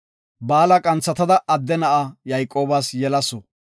Baala qanthatada adde na7a Yayqoobas yelasu.